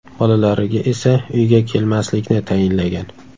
Bolalariga esa uyga kelmaslikni tayinlagan.